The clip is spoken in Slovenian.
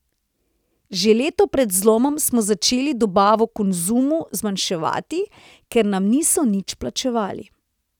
Že leto pred zlomom smo začeli dobavo Konzumu zmanjševati, ker nam niso nič plačevali.